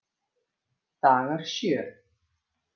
Dagar sjö